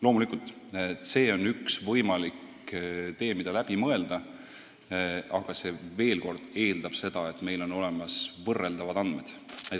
Loomulikult on see üks võimalik tee, mis tuleks läbi mõelda, aga veel kord: see eeldab, et meil on olemas võrreldavad andmed.